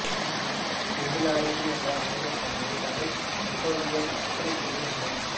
singularity என்ற ஆங்கிலச் சொல்லை தமிழில் நுட்பியல் ஒற்றைப்புள்ளி என்பர்